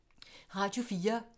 Radio 4